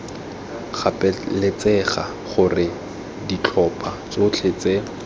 gapeletsega gore ditlhopha tsotlhe tse